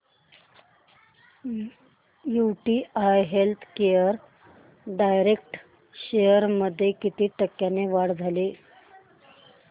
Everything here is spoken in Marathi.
यूटीआय हेल्थकेअर डायरेक्ट शेअर्स मध्ये किती टक्क्यांची वाढ झाली